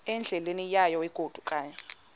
endleleni yayo egodukayo